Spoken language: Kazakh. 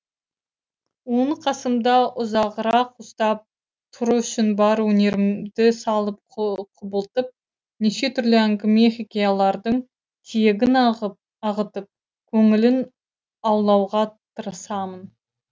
оны қасымда ұзағырақ ұстап тұру үшін бар өнерімді салып құбылтып неше түрлі әңгіме хикаялардың тиегін ағытып көңілін аулауға тырысамын